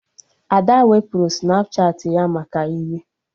Ada wepụrụ Snapchatị ya maka iwe